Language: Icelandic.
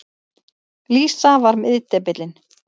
Lísa var miðdepillinn.